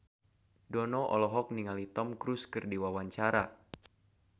Dono olohok ningali Tom Cruise keur diwawancara